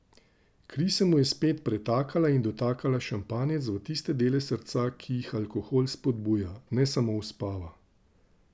Kri se mu je spet pretakala in dotakala šampanjec v tiste dele srca, ki jih alkohol spodbuja, ne samo uspava.